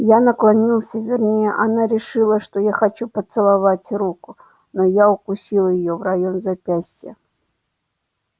я наклонился вернее она решила что я хочу поцеловать руку но я укусил её в район запястья